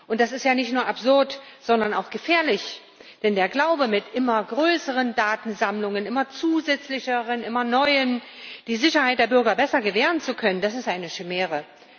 Und das ist ja nicht nur absurd, sondern auch gefährlich, denn der Glaube, mit immer größeren Datensammlungen immer mehr zusätzlichen, immer neuen die Sicherheit der Bürger besser gewähren zu können, das ist eine Chimäre.